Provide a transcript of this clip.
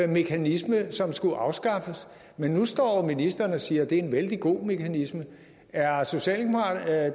mekanisme som skulle afskaffes men nu står ministeren og siger at det er en vældig god mekanisme er